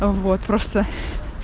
вот просто